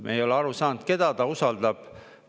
Me ei ole aru saanud, keda ta usaldab.